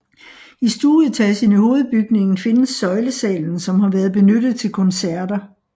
I stueetagen i hovedbygningen findes søjlesalen som har været benyttet til koncerter